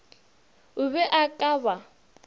o be a ka ba